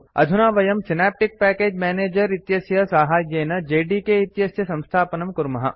अधुना वयं synaptic package manager इत्यस्य साहाय्येन जेडीके इत्यस्य संस्थापनं कुर्मः